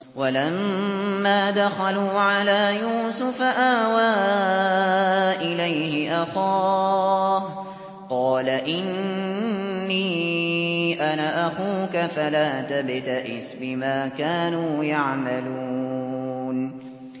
وَلَمَّا دَخَلُوا عَلَىٰ يُوسُفَ آوَىٰ إِلَيْهِ أَخَاهُ ۖ قَالَ إِنِّي أَنَا أَخُوكَ فَلَا تَبْتَئِسْ بِمَا كَانُوا يَعْمَلُونَ